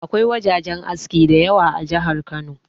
Akwai wajajen aski da yawa a jihar Kano.